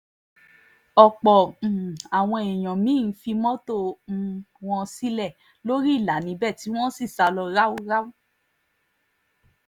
ọ̀pọ̀ um àwọn èèyàn mí-ín fi mọ́tò um wọn sílẹ̀ lórí ìlà níbẹ̀ tí wọ́n sì sá lọ ráúráú